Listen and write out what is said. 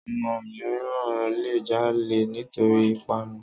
ọmọ mìíràn le jalè nítorí ìpanu